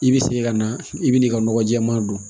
I bɛ segin ka na i bɛ n'i ka nɔgɔ jɛɛma don